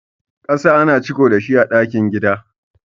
ƙasa ana ciko dashi a cikin gidan.